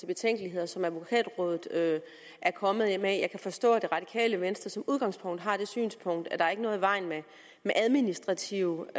betænkeligheder som advokatrådet er kommet med jeg kan forstå at det radikale venstre i udgangspunktet har det synspunkt at der ikke er noget i vejen med administrative